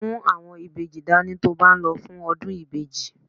Mú àwọn ìbejì dání ti o ba n lo fún ọdún ìbejì.